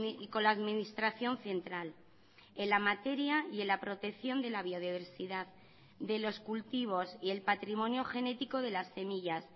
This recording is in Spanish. y con la administración central en la materia y en la protección de la biodiversidad de los cultivos y el patrimonio genético de las semillas